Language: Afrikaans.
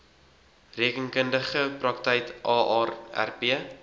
rekeningkundige praktyk aarp